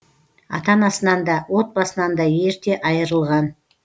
ата анасынан да отбасынан да ерте айырылған